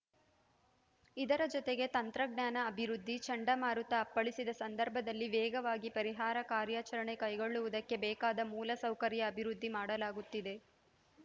ಇದರ ಜತೆಗೆ ತಂತ್ರಜ್ಞಾನ ಅಭಿವೃದ್ಧಿ ಚಂಡಮಾರುತ ಅಪ್ಪಳಿಸಿದ ಸಂದರ್ಭದಲ್ಲಿ ವೇಗವಾಗಿ ಪರಿಹಾರ ಕಾರ್ಯಾಚರಣೆ ಕೈಗೊಳ್ಳುವುದಕ್ಕೆ ಬೇಕಾದ ಮೂಲಸೌಕರ್ಯ ಅಭಿವೃದ್ಧಿ ಮಾಡಲಾಗುತ್ತಿದೆ